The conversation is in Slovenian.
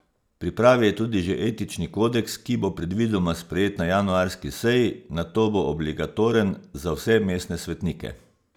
V pripravi je tudi že etični kodeks, ki bo predvidoma sprejet na januarski seji, nato bo obligatoren za vse mestne svetnike.